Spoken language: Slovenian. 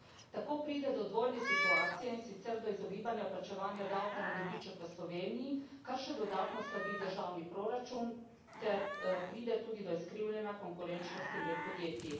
Tako pride do dvojne situacije, in sicer do izogibanja plačevanja davka na dobiček v Sloveniji, kar še dodatno slabi državni proračun, ter pride tudi do izkrivljanja konkurenčnosti med podjetji.